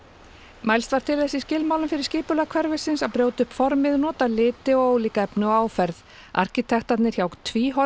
mælst var til í skilmálum fyrir skipulag hverfisins að brjóta upp formið nota liti og ólík efni og áferð arkitektarnir hjá